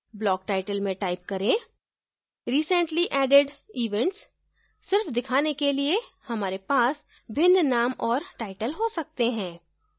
block title में type करें: recently added events सिर्फ दिखाने के लिए हमारे पास भिन्न name और टाइटल हो सकते हैं